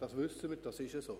Das wissen wir, das ist so.